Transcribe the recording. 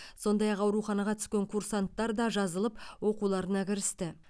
сондай ақ ауруханаға түскен курсанттар да жазылып оқуларына кірісті